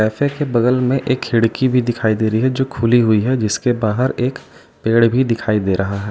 बगल में एक खिड़की भी दिखाई दे रही है जो खुली हुई है। जिसके बाहर एक पेड़ भी दिखाई दे रहा है।